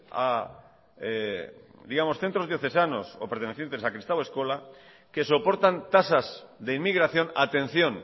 a centros diocesanos o pertenecientes a kristau eskola que soportan tasas de inmigración atención